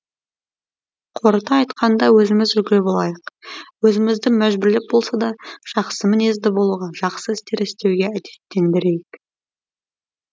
қорыта айтқанда өзіміз үлгілі болайық өзімізді мәжбүрлеп болса да жақсы мінезді болуға жақсы істер істеуге әдеттендірейік